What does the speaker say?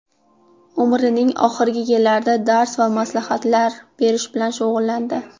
Umrining oxirgi yillarida dars va maslahatlar berish bilan shug‘ullandi.